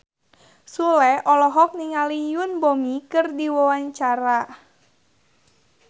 Sule olohok ningali Yoon Bomi keur diwawancara